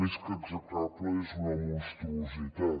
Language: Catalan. més que execrable és una monstruositat